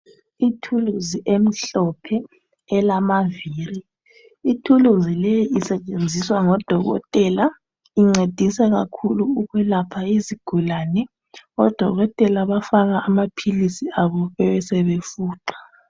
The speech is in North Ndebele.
Ithuluzi emhlophe elamaviri, ithuluzi le isetshenziswa ngodokotela incedisa kakhulu ukwelapha izigulane, odokotela bafaka amaphilisi abo bebesebefuqa